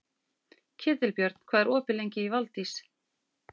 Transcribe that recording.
Ketilbjörn, hvað er opið lengi í Valdís?